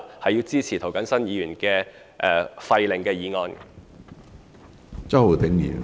我支持涂謹申議員廢令的決議案。